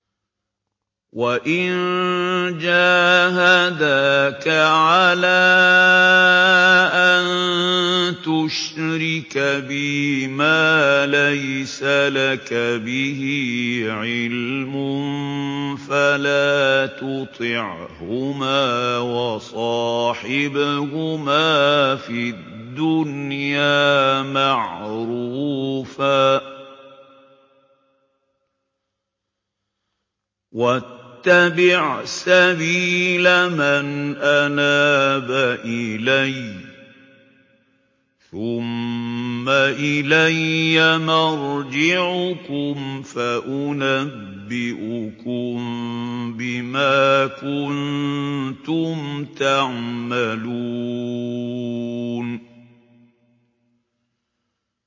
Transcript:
وَإِن جَاهَدَاكَ عَلَىٰ أَن تُشْرِكَ بِي مَا لَيْسَ لَكَ بِهِ عِلْمٌ فَلَا تُطِعْهُمَا ۖ وَصَاحِبْهُمَا فِي الدُّنْيَا مَعْرُوفًا ۖ وَاتَّبِعْ سَبِيلَ مَنْ أَنَابَ إِلَيَّ ۚ ثُمَّ إِلَيَّ مَرْجِعُكُمْ فَأُنَبِّئُكُم بِمَا كُنتُمْ تَعْمَلُونَ